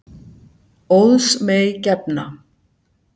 Óðs mey gefna.